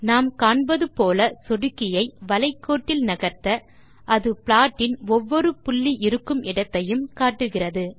நாம் காண்பது போல சொடுக்கியை வளை கோட்டில் நகர்த்த அது ப்லாட்டின் ஒவ்வொரு புள்ளி இருக்குமிடத்தையும் காட்டுகிறது